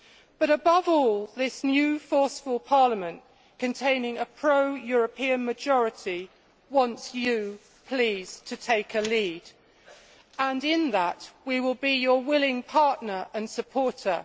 But, above all, this new forceful Parliament, containing a pro European majority, wants you please to take a lead, and in that we will be your willing partner and supporter.